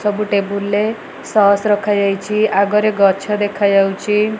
ସବୁ ଟେବୁଲ ରେ ଷଷ ରଖାଯାଇଚି ଆଗରେ ଗଛ ଦେଖାଯାଉଚି ।